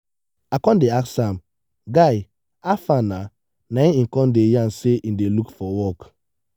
i con dey ask am “guy hafa nah? na im e con dey yarn sey im dey look for work.